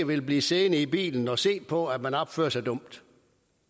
vil blive siddende i bilen og se på at man opfører sig dumt